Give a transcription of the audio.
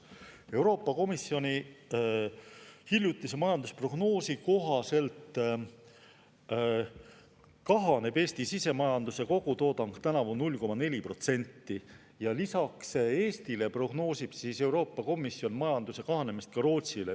Euroopa Komisjoni hiljutise majandusprognoosi kohaselt kahaneb Eesti sisemajanduse kogutoodang tänavu 0,4% ja lisaks Eestile prognoosib Euroopa Komisjon majanduse kahanemist Rootsile.